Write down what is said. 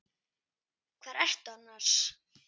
Hvar ertu annars?